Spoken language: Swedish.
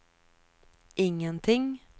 ingenting